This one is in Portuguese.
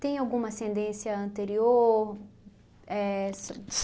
Tem alguma ascendência anterior? Éh só